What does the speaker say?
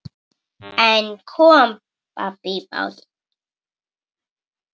En kom babb í bátinn.